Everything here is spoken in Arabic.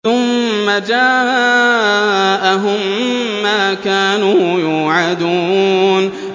ثُمَّ جَاءَهُم مَّا كَانُوا يُوعَدُونَ